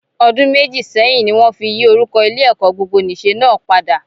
Ọdún méjì sẹ́yìn ni wọ́n yí orúkọ Ilé-ẹ̀kọ́ gbogbonìṣe náà padà.